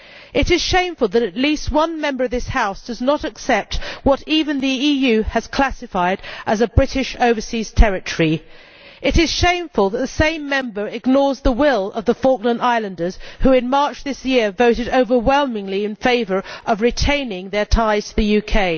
It is shameful that at least one Member of this House does not accept what even the EU has classified as a British overseas territory. It is shameful that the same Member ignores the will of the Falkland Islanders, who in March this year voted overwhelmingly in favour of retaining their ties to the UK.